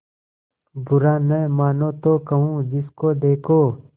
बुरा न मानों तो कहूँ जिसको देखो